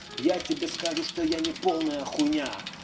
я тебе скажу что я не полная хуйня